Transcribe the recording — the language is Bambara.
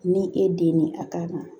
Ni e den ye a ka na